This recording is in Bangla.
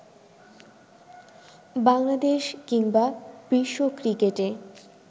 বাংলাদেশ কিংবা বিশ্ব ক্রিকেটে